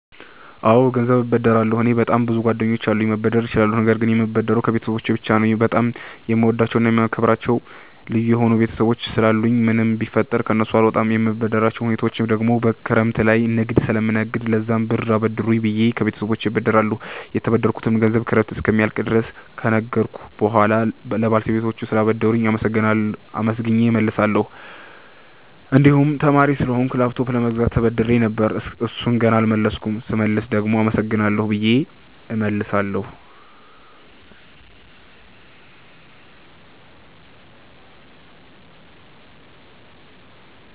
አወ ገንዘብ እበደራለሁ። እኔ በጣም ብዙ ጓደኞች አሉኝ መበደር እችላለሁ ነገር ግን የምበደረው ከቤተሰቦቸ ብቻ ነው። በጣም የምወዳቸውና የማከብራቸው ልዩ የሆኑ ቤተሰቦች ስላሉኝ ምንም ቢፈጠር ከነሱ አልወጣም። የምበደርባቸው ሁኔታወች ደግሞ ክረምት ላይ ንግድ ስለምነግድ ለዛም ብር አበድሩኝ ብየ ከቤተሰቦቸ እበደራለሁ። የተበደርኩትንም ገንዘብ ክረምት እስኪያልቅ ድረስ ከነገድኩ በሁዋላ ለባለቤቶቹ ስላበደሩኝ አመስግኘ እመልሳለሁ። እንድሁም ተማሪ ስለሆንኩ ላፕቶፕ ለመግዛት ተበድሬ ነበር እሡን ገና አልመለስኩም ስመልስ ደግሞ አመሰግናለሁ ብየ እመልሳለሁ።